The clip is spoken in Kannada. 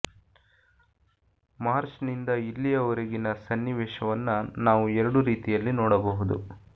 ಮಾರ್ಚ್ ನಿಂದ ಇಲ್ಲಿಯವರೆಗಿನ ಸನ್ನಿವೇಶವನ್ನ ನಾವು ಎರಡು ರೀತಿಯಲ್ಲಿ ನೋಡಬಹುದು